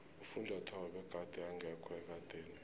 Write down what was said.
ufunjathwako begade engekho ekadeni